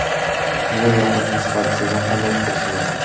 Bu yoqimsiz hodisadan qanday qutulish mumkin?